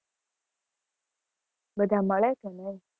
બધા મળે છે ને એમ?